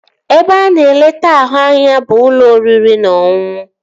Ebe a na-eleta ahụ anya bụ n'ụlọ oriri na ọṅụṅụ